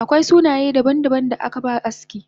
Akwai sunaye daban daban da akaba aski